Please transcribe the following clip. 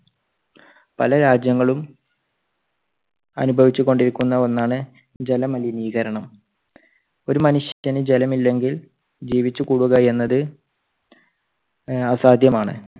പല രാജ്യങ്ങളും അനുഭവിച്ചുകൊണ്ടിരിക്കുന്ന ഒന്നാണ് ജല മലിനീകരണം. ഒരു മനുഷ്യന് ജലം ഇല്ലെങ്കിൽ ജീവിച്ചുകൂടുക എന്നത് ആഹ് അസാധ്യമാണ്.